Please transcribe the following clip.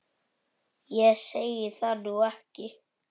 Ég segi það nú ekki.